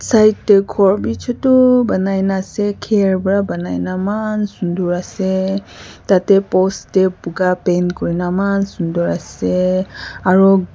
side de ghor b chutu banai na ase care para banai na eman sundur ase tade post de buga paint kuri na eman sundur ase aro--